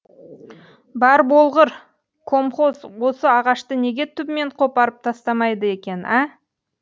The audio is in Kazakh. бар болғыр комхоз осы ағашты неге түбімен қопарып тастамайды екен ә